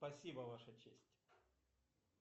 спасибо ваша честь